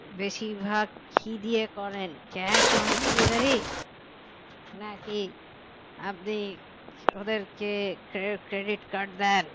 বেশিরভাগ কি দিয়ে করেন cash on delivery নাকি আপনি ওদেরকে cre~ credit card দেন